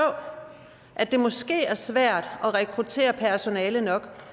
at det måske er svært at rekruttere personale nok